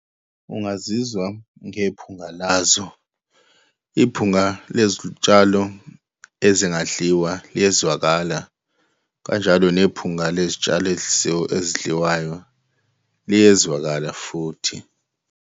Ungazizwa ngephunga lazo. Iphunga lezitshalo ezingadliwa liyezwakala, kanjalo nephunga lezi tshalo ezidliwayo liyezwakala futhi.